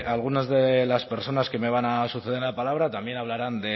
algunas de las personas que me van a suceder en la palabra también hablarán